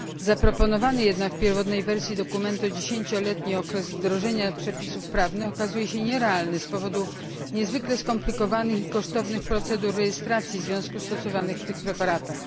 Zaproponowany jednak w pierwotnej wersji dokumentu dziesięcioletni okres wdrożenia przepisów prawnych okazuje się nierealny z powodu niezwykle skomplikowanych i kosztownych procedur rejestracji związków stosowanych w tych preparatach.